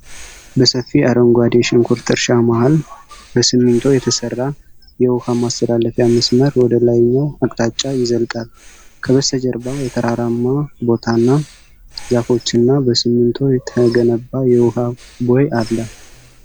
በሰፊ የአረንጓዴ ሽንኩርት እርሻ መሃል በሲሚንቶ የተሰራ የውሃ ማስተላለፊያ መስመር ወደ ላይኛው አቅጣጫ ይዘልቃል። ከበስተጀርባ የተራራማ ቦታና ዛፎችና በሲሚንቶ የተገነባ የውሃ ቦይ አለ፡፡